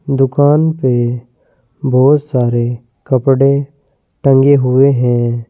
दुकान पे बहुत सारे कपड़े टंगे हुए हैं।